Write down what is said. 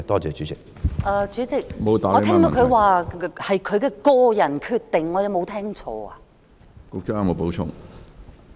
主席，我聽到局長說，這是他的個人決定，我有沒有聽錯？